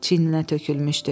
Çiyinlərinə tökülmüşdü.